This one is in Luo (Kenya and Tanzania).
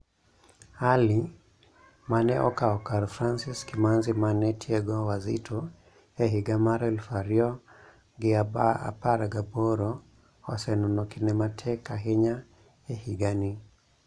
Ali, mane okawo kar Francis Kimanzi mane tiego Wazito e higa mar aluf ariyo gi apar gi aboro, oseneno kinde matek ahinya e higa ni.